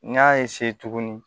N y'a tuguni